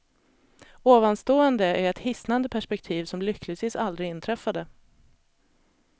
Ovanstående är ett hisnande perspektiv som lyckligtvis aldrig inträffade.